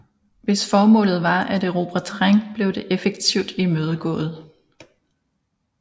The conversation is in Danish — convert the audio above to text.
Hvis formålet var at erobre terræn blev det effektivt imødegået